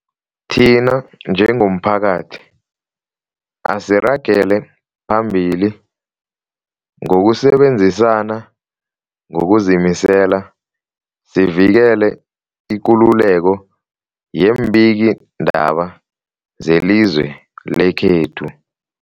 Thina njengomphakathi, asiragele phambili ngokusebenzisana ngokuzimisela sivikele ikululeko yeembikiindaba zelizwe lekhethu.